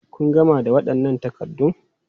Kun gama da waɗannan takaddun?